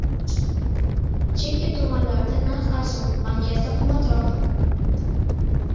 Chekka tumanlarda narx arzon, markazda qimmatroq.